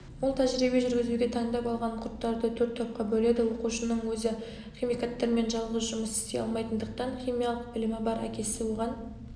ол тәжірибе жүргізуге таңдап алған құрттарды төрт топқа бөледі оқушының өзі химикаттармен жалғыз жұмыс істей алмайтындықтан химиялық білімі бар әкесі оған